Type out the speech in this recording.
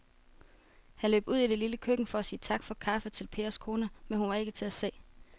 Han løb ud i det lille køkken for at sige tak for kaffe til Pers kone, men hun var ikke til at se.